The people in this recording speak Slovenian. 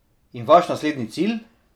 In vaš naslednji cilj?